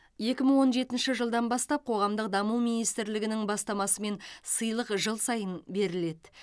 екі мың он жетінші жылдан бастап қоғамдық даму министрліктің бастамасымен сыйлық жыл сайын беріледі